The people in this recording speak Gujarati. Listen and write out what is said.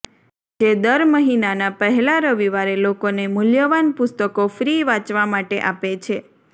જે દર મહિનાના પહેલા રવિવારે લોકોને મૂલ્યવાન પુસ્તકો ફ્રી વાંચવા માટે આપે છે